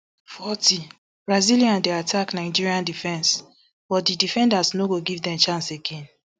forty brazilian dey attack nigeria defence but di defenders no dey give dem chance again